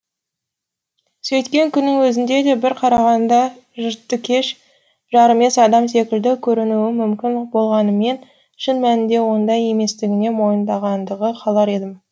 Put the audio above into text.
сөйткен күннің өзінде де бір қарағанда жартыкеш жарымес адам секілді көрінуім мүмкін болғанымен шын мәнінде ондай еместігімді мойындағаныңызды қалар едім